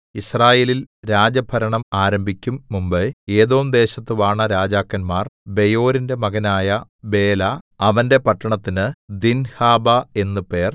യിസ്രായേലിൽ രാജഭരണം ആരംഭിക്കും മുമ്പെ ഏദോംദേശത്ത് വാണ രാജാക്കന്മാർ ബെയോരിന്റെ മകനായ ബേല അവന്റെ പട്ടണത്തിന് ദിൻഹാബാ എന്ന് പേർ